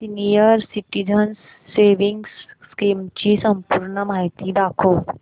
senior citizens savings scheme ची संपूर्ण माहिती दाखव